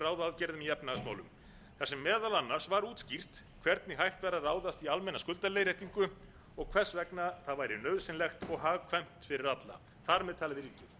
meðal annars var útskýrt hvernig hægt væri að ráðast í almenna skuldaleiðréttingu og hvers vegna það væri nauðsynlegt og hagkvæmt fyrir alla þar með talið ríkið